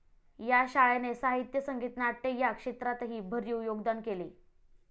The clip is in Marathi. या शाळेने साहित्य, संगीत, नाट्य या क्षेत्रातही भरीव योगदान केले.